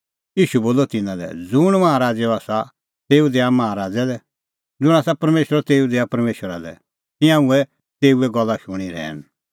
ईशू बोलअ तिन्नां लै ज़ुंण माहा राज़ैओ आसा तेऊ दैआ माहा राज़ै लै ज़ुंण आसा परमेशरो तेऊ दैआ परमेशरा लै तिंयां हुऐ तेऊए गल्ला शूणीं रहैन